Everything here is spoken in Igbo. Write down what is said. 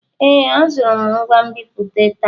Ee, azụrụ m ngwa nbipute taa.